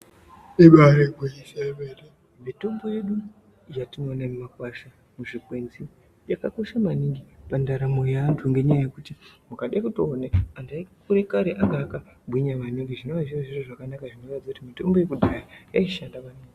Ibaari gwinyiso remene mitombo yedu yatinoona muzvimakwasha, muzvikwenzi yakakosha maningi pandaramo yeantu ngenyaya yekuti mukade kutoona antu ekare anga akagwinya maningi zvinova zviri zviro zvakanaka zvinoratidze kuti mitombo yekudhaya yaishanda maningi.